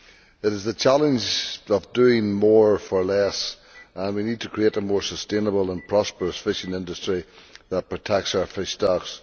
It is the challenge of doing more for less, and we need to create a more sustainable and prosperous fishing industry that protects our fish stocks.